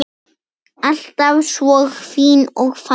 Alltaf svo fín og falleg.